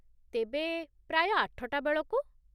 ତେବେ, ପ୍ରାୟ ଆଠଟା ବେଳକୁ?